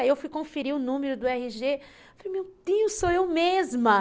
Aí eu fui conferir o número do erre gê, falei, meu Deus, sou eu mesma.